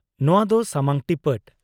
-ᱱᱚᱶᱟ ᱫᱚ ᱥᱟᱢᱟᱝ ᱴᱤᱯᱟᱹᱴ ᱾